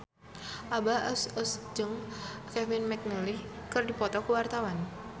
Abah Us Us jeung Kevin McNally keur dipoto ku wartawan